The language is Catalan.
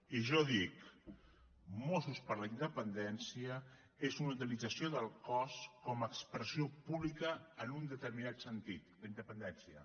i jo dic mossos per la independència és una utilització del cos com a expressió pública en un determinat sentit la independència